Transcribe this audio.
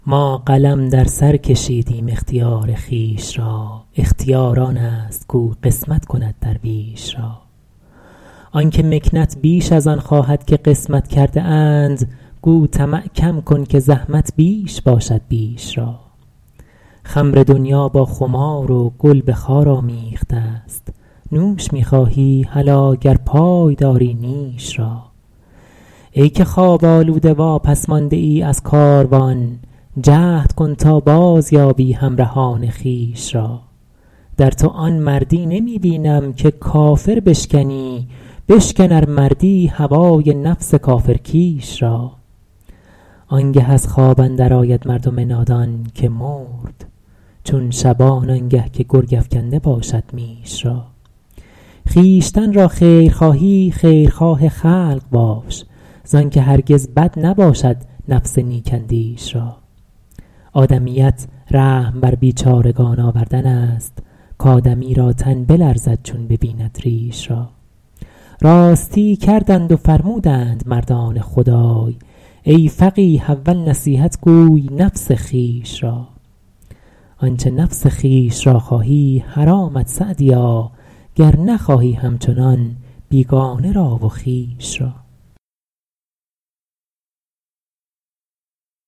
ما قلم در سر کشیدیم اختیار خویش را اختیار آن است کاو قسمت کند درویش را آن که مکنت بیش از آن خواهد که قسمت کرده اند گو طمع کم کن که زحمت بیش باشد بیش را خمر دنیا با خمار و گل به خار آمیخته ست نوش می خواهی هلا گر پای داری نیش را ای که خواب آلوده واپس مانده ای از کاروان جهد کن تا بازیابی همرهان خویش را در تو آن مردی نمی بینم که کافر بشکنی بشکن ار مردی هوای نفس کافر کیش را آن گه از خواب اندر آید مردم نادان که مرد چون شبان آن گه که گرگ افکنده باشد میش را خویشتن را خیر خواهی خیرخواه خلق باش زآن که هرگز بد نباشد نفس نیک اندیش را آدمیت رحم بر بیچارگان آوردن است کآدمی را تن بلرزد چون ببیند ریش را راستی کردند و فرمودند مردان خدای ای فقیه اول نصیحت گوی نفس خویش را آنچه نفس خویش را خواهی حرامت سعدیا گر نخواهی همچنان بیگانه را و خویش را